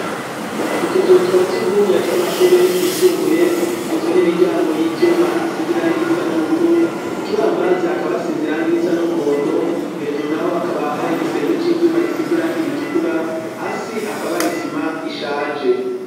Utuzuhu twasugumwe tw'amashuri yisumbuye twizwe n'imiryango y'ivyuma isizirangirisa n'ubururu ku kibambazi hakaba asizirangirisa n'umuhondo hejuru naho hakaba hari igisenge c'ivyuma gisizirangira itukura hasi hakaba hari sima ishaje.